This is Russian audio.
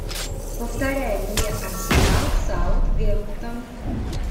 повторяй мне арсенал саутгемптон